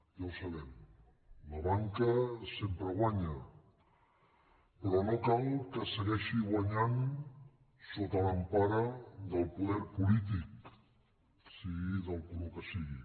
ja ho sabem la banca sempre guanya però no cal que segueixi guanyant sota l’empara del poder polític si·gui del color que sigui